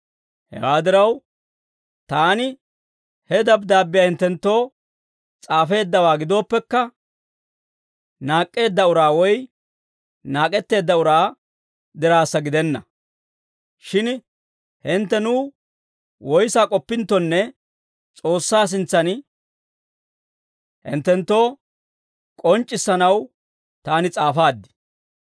Hewaa diraw, taani he dabddaabbiyaa hinttenttoo s'aafeeddawaa gidooppekka, naak'k'eedda uraa woy naak'etteedda uraa diraassa gidenna; shin hintte nuw woyissaa k'oppinttonne S'oossaa sintsan hinttenttoo k'onc'c'issanaw taani s'aafaad.